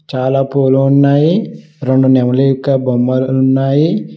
చాలా పూలు ఉన్నాయి రెండు నెమలి ఇక్క బొమ్మలు ఉన్నాయి.